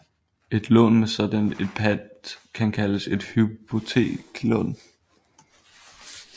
Et lån med sådan et pant kan kaldes et hypoteklån